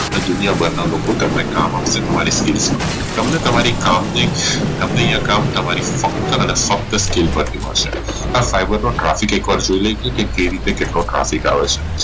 એટલે દુનિયા બહારના લોકો તમને કામ આપશે તમારી skills પરથી તમને તમારી કામ ની તમને ય કામ તમારી ફક્ત અને ફક્ત skill પરથી મળશે આ ફાઈબર નો Traffic એક વાર જોઈ લૈયે કે કઈ રીતે કેટલો Traffic આવે છે